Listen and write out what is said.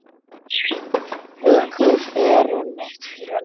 Haukar eru mitt félag.